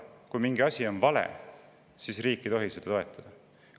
Kui mingi asi on vale, siis riik ei tohi seda toetada.